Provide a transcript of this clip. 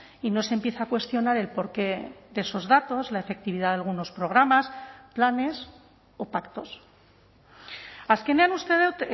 y no se empieza a cuestionar el porqué de esos datos la efectividad de algunos programas planes o pactos azkenean uste dut